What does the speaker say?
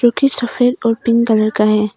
सफेद और pink colour का है।